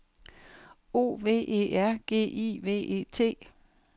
O V E R G I V E T